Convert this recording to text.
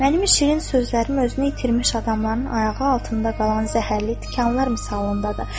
Mənim şirin sözlərim özünü itirmiş adamların ayağı altında qalan zəhərli tikanlar misalındadır.